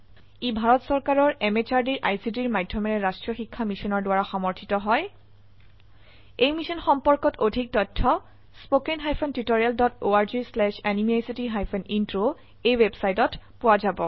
ই ভাৰত চৰকাৰৰ MHRDৰ ICTৰ মাধয়মেৰে ৰাস্ত্ৰীয় শিক্ষা মিছনৰ দ্ৱাৰা সমৰ্থিত হয় এই মিশ্যন সম্পৰ্কত অধিক তথ্য spoken hyphen tutorial dot org slash এনএমইআইচিত হাইফেন ইন্ট্ৰ ৱেবচাইটত পোৱা যাব